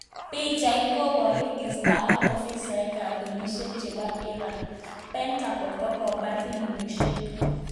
pichait koparu kistaa ak ofisaek ap polishiek chepo iran .pentagon kokopar filimishek